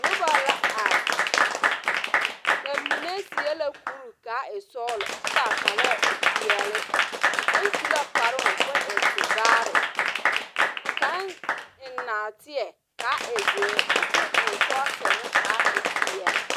Noba la are. ba mine seԑ la kuri ka a e sͻgelͻ kyԑ ka a kparԑԑ a e peԑle. Kaŋ su la kparoo koo e tevaare ka kaŋ eŋ naateԑ kaa e zeere kyԑ ka o eŋ sͻͻsere kaa e peԑle.